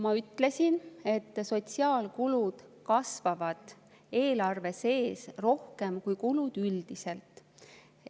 Ma ütlesin, et sotsiaalkulud kasvavad eelarve sees rohkem kui kulud üldiselt.